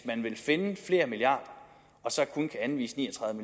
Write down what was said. man vil finde flere milliarder og så kun kan anvise ni og tredive